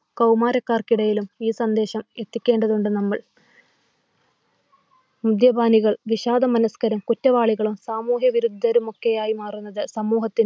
കൗമാരക്കാർക്കിടയിലും ഈ സന്ദേശം എത്തിക്കേണ്ടതുണ്ട് നമ്മൾ. മദ്യപാനികൾ വിഷാദമനുഷ്കരും, കുറ്റവാളികളും, സാമൂഹവിരുദ്ധരും ഒക്കെയായി മാറുന്നത് സമൂഹത്തിന്